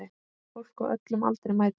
Fólk á öllum aldri mætir.